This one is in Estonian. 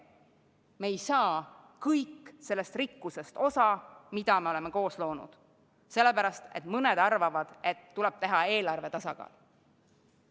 Me ei saa kõik osa sellest rikkusest, mida me oleme koos loonud, sest mõned arvavad, et on vaja eelarve tasakaalu.